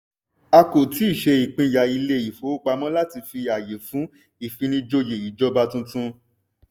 a kò tíì ṣe ìpínyà ilé ìfowópamọ́ láti fi àyè fún ìfinijòyè ìjọba tuntun.